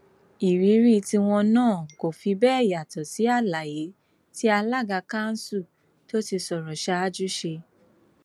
ìrírí tiwọn náà kò sì fi bẹẹ yàtọ sí àlàyé tí alága kanṣu tó ti sọrọ ṣáájú ṣe